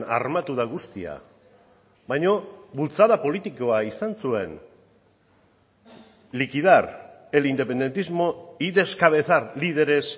armatu da guztia baina bultzada politikoa izan zuen liquidar el independentismo y descabezar líderes